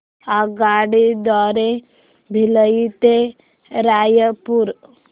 आगगाडी द्वारे भिलाई ते रायपुर